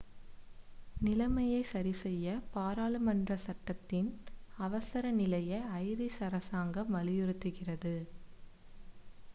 நிலைமையைச் சரிசெய்ய பாராளுமன்ற சட்டத்தின் அவசர நிலையை ஐரிஷ் அரசாங்கம் வலியுறுத்துகிறது